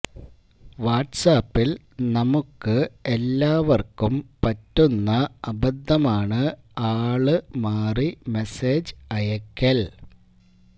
വാട്ട്സാപ്പിൽ നമുക്ക് എല്ലാവർക്കും പറ്റുന്ന അബദ്ധമാണ് ആള് മാറി മെസ്സേജ് അയക്കൽ